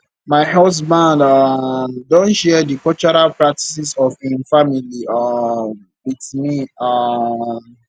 my husband um don share di cultural practices of im family um with me um